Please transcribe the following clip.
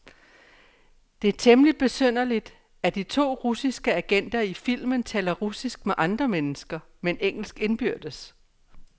Det er temmeligt besynderligt, at de to russiske agenter i filmen taler russisk med andre mennesker, men engelsk indbyrdes.